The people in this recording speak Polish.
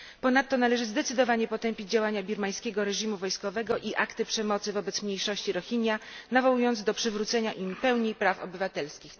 Ponadto należy zdecydowanie potępić działania birmańskiego reżimu wojskowego i akty przemocy wobec mniejszości Rohinja, nawołując do przywrócenia im pełni praw obywatelskich.